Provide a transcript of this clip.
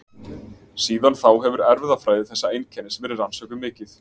Síðan þá hefur erfðafræði þessa einkennis verið rannsökuð mikið.